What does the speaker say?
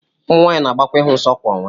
ụmụ nwanyị na-agbakwa ịhụ nsọ kwa ọnwa